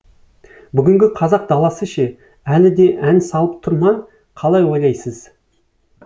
бүгінгі қазақ даласы ше әлі де ән салып тұр ма қалай ойлайсыз